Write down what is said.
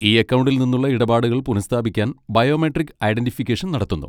ഈ അക്കൗണ്ടിൽ നിന്നുള്ള ഇടപാടുകൾ പുനഃസ്ഥാപിക്കാൻ ബയോമെട്രിക് ഐഡന്റിഫിക്കേഷൻ നടത്തുന്നു.